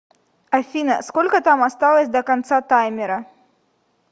афина сколько там осталось до конца таймера